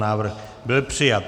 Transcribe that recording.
Návrh byl přijat.